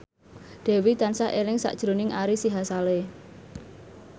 Dewi tansah eling sakjroning Ari Sihasale